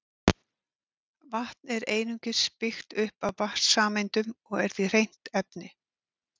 Vatn er einungis byggt upp af vatnssameindum og er því hreint efni.